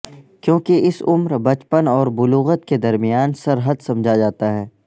کیونکہ اس عمر بچپن اور بلوغت کے درمیان سرحد سمجھا جاتا ہے